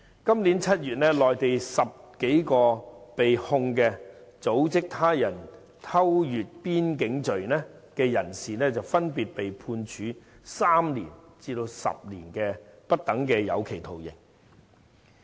今年7月，內地10多名被控"組織他人偷越邊境罪"的人士，分別被判處3年至10年不等有期徒刑。